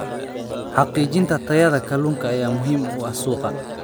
Xaqiijinta tayada kalluunka ayaa muhiim u ah suuqa.